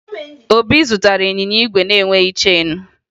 Obi zụtara ịnyịnya igwe na-enweghi cheenu